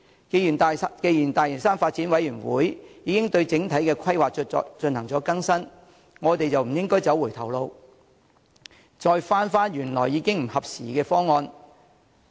既然大嶼山發展諮詢委員會已對整體規劃作出更新，我們就不應走回頭路，返回原本已不合時宜的方案。